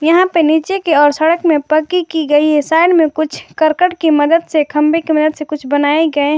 यहां पे नीचे की और सड़क में पक्की की गई है साइड में कुछ करकट की मदद से खंभे की मदद से कुछ बनाए गए हैं।